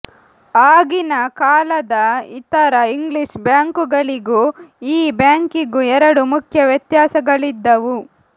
ಆಗಿನ ಕಾಲದ ಇತರ ಇಂಗ್ಲಿಷ್ ಬ್ಯಾಂಕುಗಳಿಗೂ ಈ ಬ್ಯಾಂಕಿಗೂ ಎರಡು ಮುಖ್ಯ ವ್ಯತ್ಯಾಸಗಳಿದ್ದವು